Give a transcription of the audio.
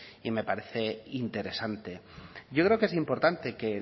y me parece interesante yo creo que es importante que